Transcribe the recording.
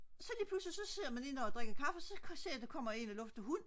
så lige pludselig så sidder man inde og drikker kaffe så ser man en der kommer og lufter hund